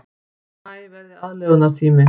Maí verði aðlögunartími